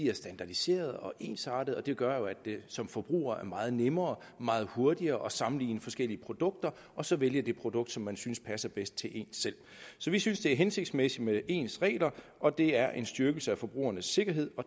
er standardiserede og ensartede det gør jo at det som forbruger er meget nemmere og meget hurtigere at sammenligne forskellige produkter og så vælge det produkt som man synes passer bedst til en selv så vi synes det er hensigtsmæssigt med ens regler og det er en styrkelse af forbrugernes sikkerhed